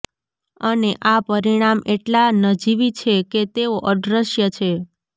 અને આ પરિણામ એટલા નજીવી છે કે તેઓ અદ્રશ્ય છે